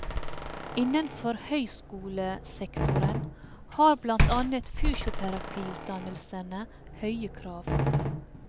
Innenfor høyskolesektoren har blant annet fysioterapiutdannelsene høye krav.